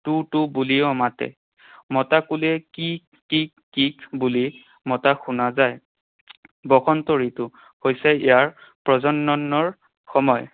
Two টু বুলিও মাতে। মতা কুলিয়ে কিক কিক কিক বুলি মতা শুনা যায়। বসন্ত ঋতু হৈছে ইয়াৰ প্ৰজননৰ সময়।